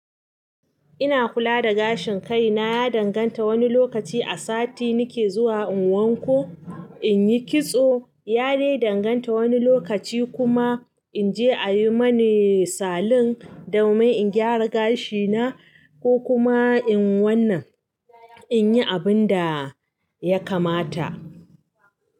Ina kula da gashin kai na ya danganta wani lokaci a sati nake zuwa in wanko, in yi kitso, ya dai danganta wani lokaci kuma in je a yi mani salon domin in gyara gashi na ko kuma in wannan in yi abun da ya kamata.